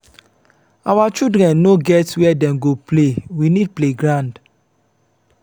our children no get where dem go play we need playground.